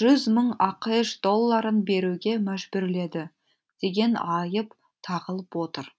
жүз мың ақш долларын беруге мәжбүрледі деген айып тағылып отыр